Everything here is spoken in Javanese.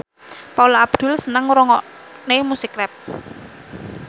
Paula Abdul seneng ngrungokne musik rap